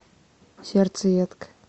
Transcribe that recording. сердцеедка